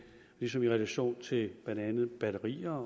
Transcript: ligesom i relation til blandt andet batterier